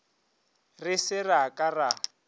re se ra ka ra